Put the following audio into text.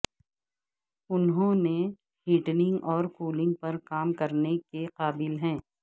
انہوں ہیٹنگ اور کولنگ پر کام کرنے کے قابل ہیں